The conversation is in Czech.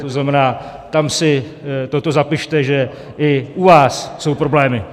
To znamená, tam si toto zapište, že i u vás jsou problémy.